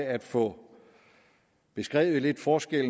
at få beskrevet den forskel